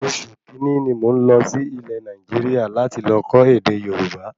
Oṣù kínní ní mò n lọ sí Ilẹ̀ Nàìjíríà láti lọ kọ́ ède Yorùbá